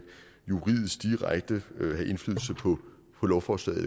juridisk direkte vil have indflydelse på lovforslaget